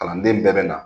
Kalanden bɛɛ bɛ na